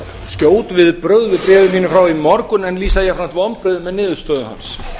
skjót viðbrögð við bréfi mínu frá í morgun en lýsa jafnframt vonbrigðum með niðurstöðu hans